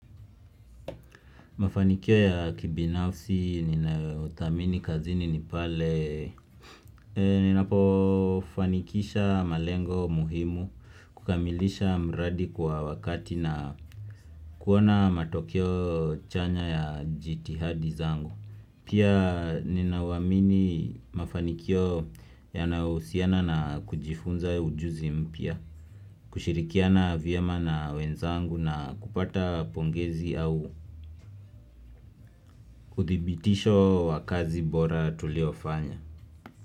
Mafanikio ya kibinafsi ninayothamini kazini nipale Ninapo fanikisha malengo muhimu kukamilisha mradi kwa wakati na kuona matokeo chanya ya jitihadi zangu Pia ninauamini mafanikio yanahusiana na kujifunza ujuzi mpya kushirikiana vyema na wenzangu na kupata pongezi au uthibitisho wa kazi bora tuliyofanya.